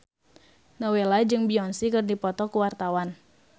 Nowela jeung Beyonce keur dipoto ku wartawan